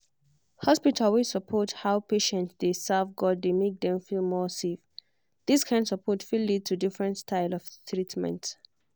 hospital wey support how patient dey serve god dey make dem feel more safe. this kind support fit lead to different style of treatment.